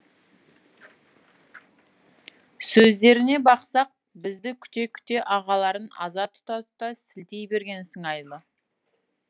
сөздеріне бақсақ бізді күте күте ағаларын аза тұта тұта сілтей берген сыңайлы